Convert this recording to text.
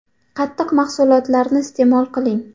Qatiq mahsulotlarini iste’mol qiling .